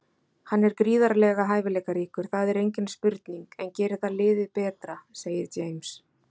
Hann er gríðarlega hæfileikaríkur, það er engin spurning, en gerir það liðið betra? segir James.